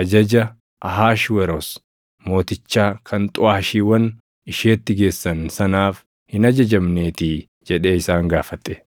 ajaja Ahashweroos Mootichaa kan xuʼaashiiwwan isheetti geessan sanaaf hin ajajamneetii” jedhee isaan gaafate.